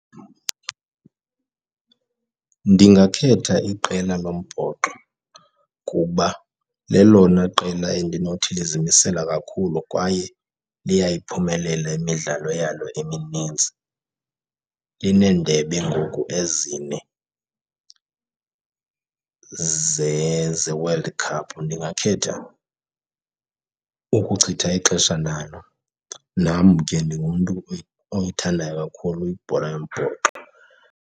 Ndingakhetha iqela lombhoxo kuba lelona qela endinothi lizimisela kakhulu kwaye liyayiphumelela imidlalo yalo emininzi. Lineendebe ngoku ezine zeWorld Cup. Ndingakhetha ukuchitha ixesha nalo. Nam ke ndingumntu oyithandayo kakhulu ibhola yombhoxo.